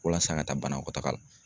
Walasa ka taa banakɔ la taga la